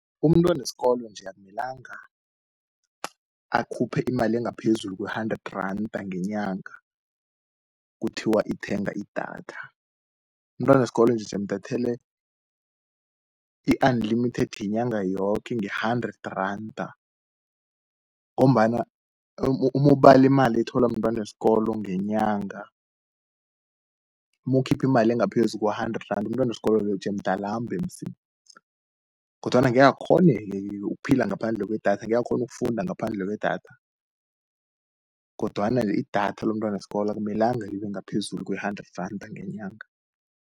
Umntwaneskolo nje, ukumelanga akhuphe imali engaphezulu kwe-hundredranda ngenyanga, kuthiwa ithenga idatha. Umntwaneskolo jemdathele i-unlimited yenyanga yoke nge-hundred randa, ngombana uma ubali imali ethola mntwaneskolo ngenyanga, uyokhiphi imali engaphezu kwe-hundred randa. Umntwaneskolo loyo jemdalambe musi, kodwana angeke akghoneke ukuphila ngaphandle kwedatha. Angeke akghonu ukufunda ngaphandle kwedatha, kodwana idatha lomntwaneskolo akumelanga libengaphezulu kwe-hundred randa ngenyanga.